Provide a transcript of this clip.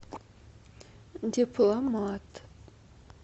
дипломат